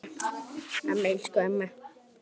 Amma, elsku amma.